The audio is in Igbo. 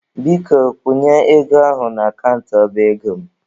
Biko kwụnye ego ahụ n'akant ọba ego m.